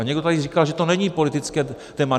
A někdo tady říkal, že to není politické téma.